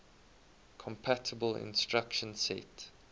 compatible instruction set